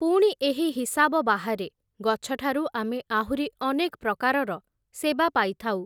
ପୁଣି ଏହି ହିସାବ ବାହାରେ, ଗଛଠାରୁ ଆମେ ଆହୁରି ଅନେକ୍ ପ୍ରକାରର ସେବା ପାଇଥାଉ ।